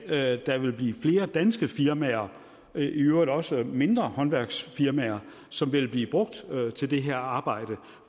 at der vil blive flere danske firmaer i øvrigt også mindre håndværksfirmaer som vil blive brugt til det her arbejde